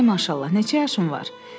Ay maşallah, neçə yaşın var?